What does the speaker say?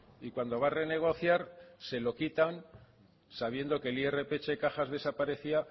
y cuando va a renegociar se lo quitan sabiendo que el irph cajas desaparecía